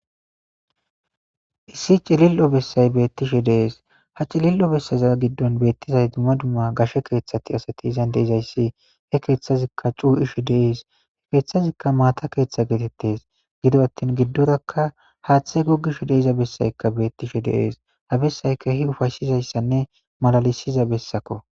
Issi cilil'o bessay beettishe dees ha cilil'o bessaza giddon beettizay dumma dumma gashe keeththati asati izan deizayssi he keeththazikka cuu ishe dees he keeththazikka maata keeththa geetettes gido attin giddorakka haaththe gogishu deiza bessaykka beettishe deees ha bessayka hi ufashizayssanne malalisiza bessako.